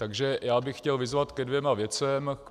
Takže já bych chtěl vyzvat ke dvěma věcem.